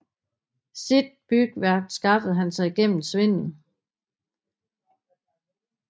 Sit bygværk skaffede han sig gennem svindel